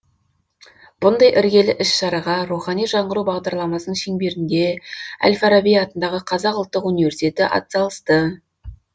бұндай іргелі іс шараға рухани жаңғыру бағдарламасының шеңберінде әл фараби атындағы қазақ ұлттық университеті атсалысты